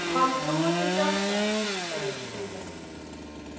Hann trúir því sjálfsagt, segir Skúli.